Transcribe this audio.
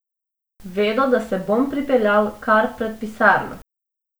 Vedo, da se bom pripeljal kar pred pisarno.